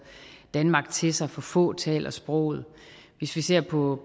danmark til sig for få taler sproget hvis vi ser på